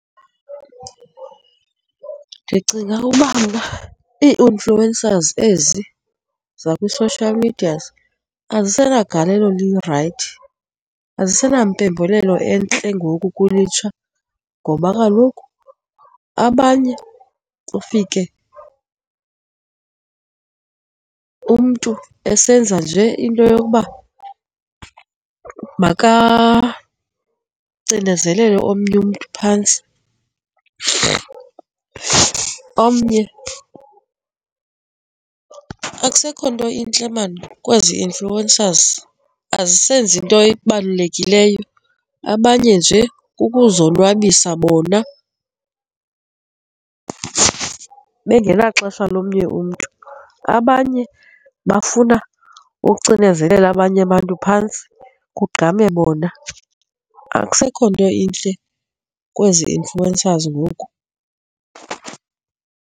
Ndicinga uba mna ii-influencers ezi zakwi-social media azisenagalelo lirayithi azisenampembelelo entle ngoku kulutsha ngoba kaloku abanye ufike umntu esenza njee into yokuba makacinezelele omnye umntu phantsi. Omnye, akusekho nto intle mani kwezi influencers, azisenzi into ebalulekileyo, abanye nje kukuzonwabisa bona bengenaxesha lomnye umntu. Abanye bafuna ucinezelela abanye abantu phantsi, kugqame bona. Akusekho nto intle kwezi influencers ngoku.